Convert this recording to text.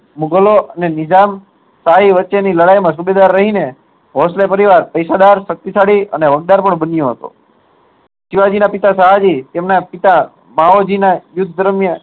મુગલો અને નિજમ સ્કાઈ લડાઈ વચે સુબેદાર રહી ને ભોશલે પરિવાર પૈસાદાર શક્તિશાળી બન્યો હતો શિવાજી ના પિતા શાહુજી અને તેમના પિતા યુદ્ધ દરમિયાન